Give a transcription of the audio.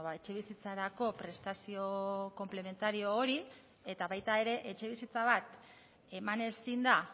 etxebizitzarako prestazio konplementario hori eta baita ere etxebizitza bat eman ezin da